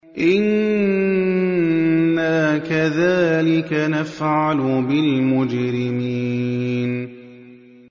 إِنَّا كَذَٰلِكَ نَفْعَلُ بِالْمُجْرِمِينَ